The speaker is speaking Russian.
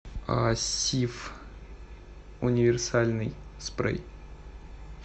сиф универсальный спрей